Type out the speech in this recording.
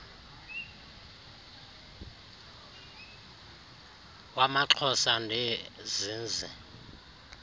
wamaxhosa ndee zinzi